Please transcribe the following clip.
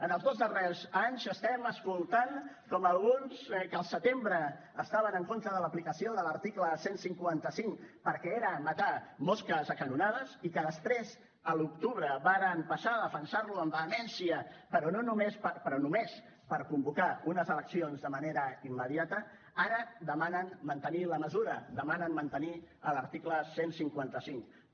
en els dos darrers anys estem escoltant com alguns que al setembre estaven en contra de l’aplicació de l’article cien y cincuenta cinco perquè era matar mosques a canonades i que després a l’octubre varen passar a defensar lo amb vehemència però només per convocar unes eleccions de manera immediata ara demanen mantenir la mesura demanen mantenir l’article cien y cincuenta cinco